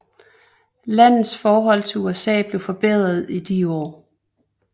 Landets forhold til USA blev forbedret i de år